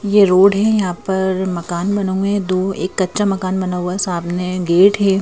ये रोड है यहां पर मकान बना हुआ है दो एक कच्चा मकान बना है सामने गेट है।